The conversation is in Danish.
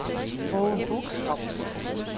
Aage Buch